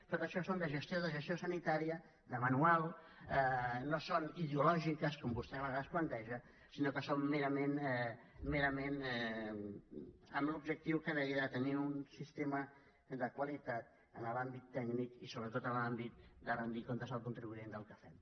tot això són coses de gestió de gestió sanitària de manual no són ideològiques com vostè a vegades planteja sinó que són merament amb l’objectiu que deia de tenir un sistema de qualitat en l’àmbit tècnic i sobretot en l’àmbit de rendir comptes al contribuent del que fem